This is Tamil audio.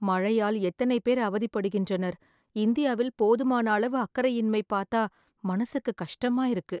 மழையால் எத்தனை பேர் அவதிப்படுகின்றனர். இந்தியாவில் போதுமானாளவு அக்கறையின்மை பாத்தா மனசுக்கு கஷ்டமா இருக்கு